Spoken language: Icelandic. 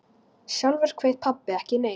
Sjálfur kveið pabbi ekki neinu.